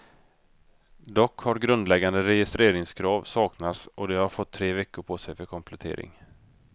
Dock har grundläggande registreringskrav saknats och de har fått tre veckor på sig för komplettering.